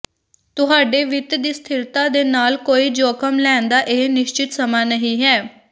ਤੁਹਾਡੇ ਵਿੱਤ ਦੀ ਸਥਿਰਤਾ ਦੇ ਨਾਲ ਕੋਈ ਜੋਖਮ ਲੈਣ ਦਾ ਇਹ ਨਿਸ਼ਚਤ ਸਮਾਂ ਨਹੀਂ ਹੈ